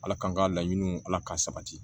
Ala kan ka laɲiniw ala ka sabati